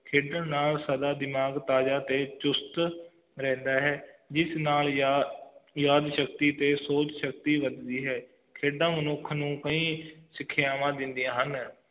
ਖੇਡਣ ਨਾਲ ਸਾਡਾ ਦਿਮਾਗ ਤਾਜ਼ਾ ਤੇ ਚੁਸਤ ਰਹਿੰਦਾ ਹੈ ਇਸ ਨਾਲ ਯਾਦ ਸ਼ਕਤੀ ਤੇ ਸੋਚ ਸ਼ਕਤੀ ਵਧਦੀ ਹੈ ਖੇਡਾਂ ਮਨੁੱਖ ਨੂੰ ਕਈ ਸਿਖਿਆਵਾਂ ਦਿੰਦਿਆਂ ਹਨ